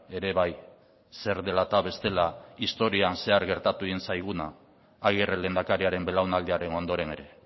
ere bai zer dela eta bestela historian zehar gertatu egin zaiguna agirre lehendakariaren belaunaldiaren ondoren ere